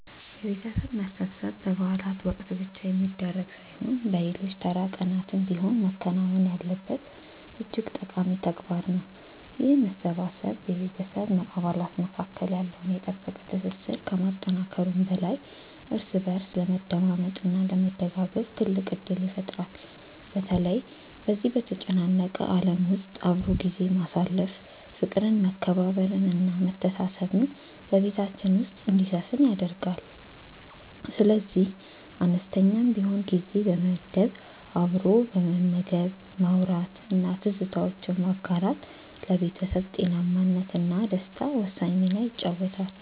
የቤተሰብ መሰብሰብ በበዓላት ወቅት ብቻ የሚደረግ ሳይሆን በሌሎች ተራ ቀናትም ቢሆን መከናወን ያለበት እጅግ ጠቃሚ ተግባር ነው። ይህ መሰባሰብ በቤተሰብ አባላት መካከል ያለውን የጠበቀ ትስስር ከማጠናከሩም በላይ እርስ በእርስ ለመደማመጥ እና ለመደጋገፍ ትልቅ ዕድል ይፈጥራል። በተለይ በዚህ በተጨናነቀ ዓለም ውስጥ አብሮ ጊዜ ማሳለፍ ፍቅርን መከባበርን እና መተሳሰብን በቤታችን ውስጥ እንዲሰፍን ያደርጋል። ስለዚህ አነስተኛም ቢሆን ጊዜ በመመደብ አብሮ መመገብ ማውራት እና ትዝታዎችን ማጋራት ለቤተሰብ ጤናማነት እና ደስታ ወሳኝ ሚና ይጫወታል